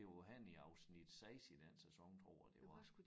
Det var henne i afsnit 6 i den sæson tror jeg det var